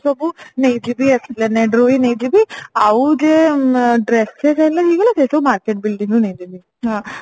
ସବୁ ନେଇ ଯିବି ଆସିଲେ ହୁଁ ନେଇ ଯିବି ଆଉ ଯେ ମ dresses ହେଲେ ହେଇଗଲା ସେ ସବୁ market building ରୁ ନେଇଯିବି ହଁ